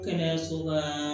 Kɛnɛyaso ka